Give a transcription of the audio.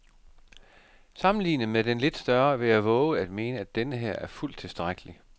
Sammenlignet med den lidt større vil jeg vove at mene, at denneher er fuldt tilstrækkelig.